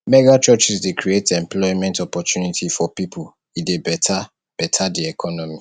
mega churches de create employment opportunity for pipo e de better better di economy